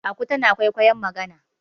aku tana kwaikwayon magana